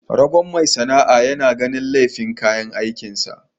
Ragon mai sana'a yana ganin laifin kayan aikin sa.